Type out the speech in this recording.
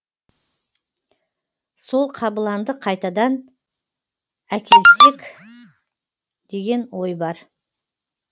сол қабыланды қайтадан әкелсек деген ой бар